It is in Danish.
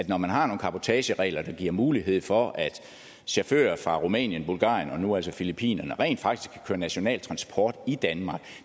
når man har nogle cabotageregler der giver mulighed for at chauffører fra rumænien bulgarien og nu altså filippinerne rent faktisk kan køre national transport i danmark